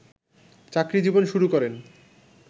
চাকরিজীবন শুরু করেন